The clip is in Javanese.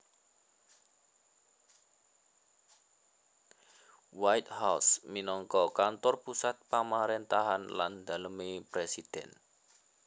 White House minangka kantor pusat pamaréntahan lan dalemé presiden